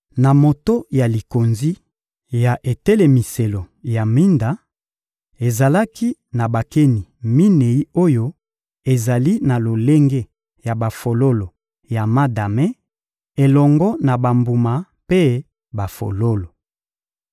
Na moto ya likonzi ya etelemiselo ya minda, ezalaki na bakeni minei oyo ezali na lolenge ya bafololo ya madame, elongo na bambuma mpe bafololo.